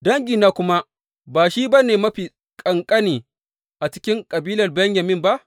Dangina kuma ba shi ba ne mafi kakanni a cikin kabilar Benyamin ba?